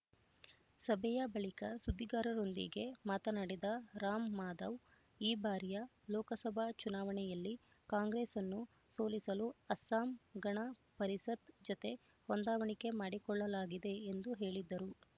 ಸಭೆಯ ಬಳಿಕ ಸುದ್ದಿಗಾರರೊಂದಿಗೆ ಮಾತನಾಡಿದ ರಾಮ್‌ಮಾಧವ್ ಈ ಬಾರಿಯ ಲೋಕಸಭಾ ಚುನಾವಣೆಯಲ್ಲಿ ಕಾಂಗ್ರೆಸ್‌ನ್ನು ಸೋಲಿಸಲು ಅಸ್ಸಾಂ ಗಣ ಪರಿಷತ್ ಜತೆ ಹೊಂದಾವಣಿಕೆ ಮಾಡಿಕೊಳ್ಳಲಾಗಿದೆ ಎಂದು ಹೇಳಿದರು